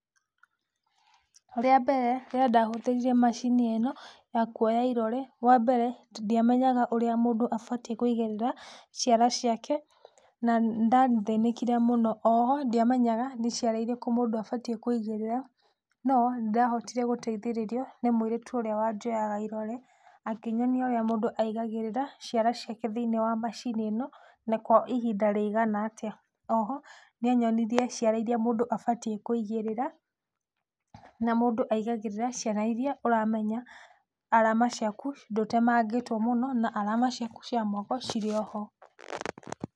Rĩa mbere rĩrĩa ndahũthĩrire macini ĩno ya kuoya irore, wambere ndiamenyaga ũrĩa mũndũ abatiĩ kũigĩrĩa ciara ciake na nĩ ndathĩnĩkire mũno. Oho ndiamenaga nĩ ciara irĩkũ mũndũ abatie kũigĩrĩra no nĩ ndahotire gũteithĩrĩrio nĩ mũirĩtu ũrĩa wanjoyaga irore. Akĩnyonia ũrĩa mũndũ aigagĩrĩra ciara ciake thĩinĩ wa macini ĩno na kwa ihinda rĩigana atia. Oho nĩ anyonirie ciara iria mũndũ abatie kũigĩrĩra na mũndũ aigagĩrĩra ciara iria ũramenya arama ciaku ndũtemangĩtwo mũno, na arama ciaku cia moko cirĩ oho.